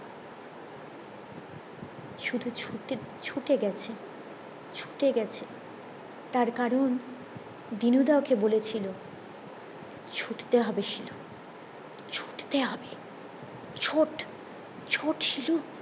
শুধু ছুটে গেছে ছুটে গেছে তার কারণ দিনু দা ওকে বলেছিলো ছুটতে হবে শিলু ছুটতে হবে ছোট ছোট শিলু